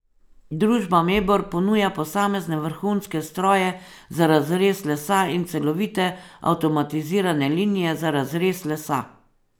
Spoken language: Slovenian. Družba Mebor ponuja posamezne vrhunske stroje za razrez lesa in celovite avtomatizirane linije za razrez lesa.